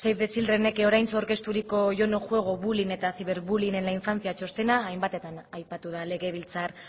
save the childrenek oraintsu aurkezturiko yo no juego bullying eta ciberbullying en la infancia txostena hainbatetan aipatu da legebiltzar